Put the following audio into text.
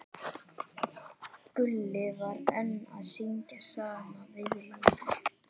Gulli var enn að syngja sama viðlagið.